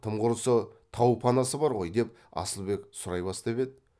тым құрысы тау панасы бар ғой деп асылбек сұрай бастап еді